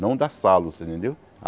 Não da Salos, você entendeu?